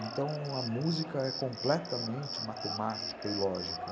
Então, a música é completamente matemática e lógica.